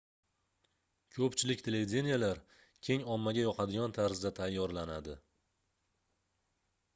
koʻpchilik televideniyelar keng ommaga yoqadigan tarzda tayyorlanadi